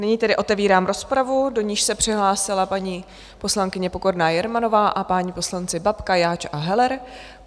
Nyní tedy otevírám rozpravu, do níž se přihlásila paní poslankyně Pokorná Jermanová a páni poslanci Babka, Jáč a Heller.